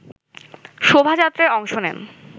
শোভাযাত্রায় অংশ নেন